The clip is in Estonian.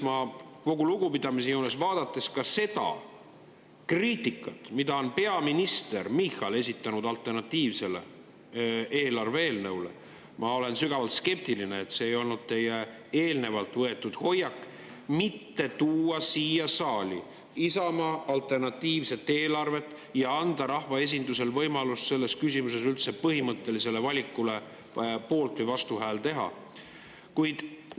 Kogu lugupidamise juures, vaadates ka seda kriitikat, mida on peaminister Michal esitanud alternatiivse eelarve kohta, olen sügavalt skeptiline, et see ei olnud teil eelnevalt võetud hoiak Isamaa alternatiivset eelarvet mitte tuua siia saali ja anda rahvaesindusele võimalus selles põhimõttelises küsimuses üldse poolt- või vastuhäält.